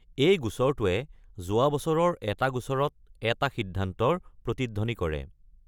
এই গোচৰটোৱে যোৱা বছৰৰ এটা গোচৰত এটা সিদ্ধান্তৰ প্ৰতিধ্বনি কৰে।